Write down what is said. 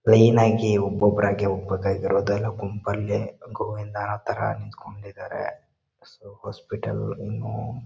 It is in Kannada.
ಕ್ಲೀನ್ ಆಗಿ ಒಬ್ಬರಾಗಿ ಒಕ್ಕಾತ್ತಿರೋದೆಲ್ಲಾ ಗುಂಪಲ್ಲಿ ಗೋವಿಂದ ಅನ್ನೋ ತರ ನಿಂತ್ಕೊಂಡಿದ್ದಾರೆ ಸೋ ಹಾಸ್ಪಿಟಲ್ ಇನ್ನು --